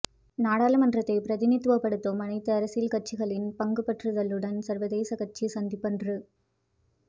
நாடாளுமன்றத்தை பிரதிநிதித்துவப்படுத்தும் அனைத்து அரசியல் கட்சிகளின் பங்குபற்றுதலுடன் சர்வ கட்சி சந்திப்பொன்று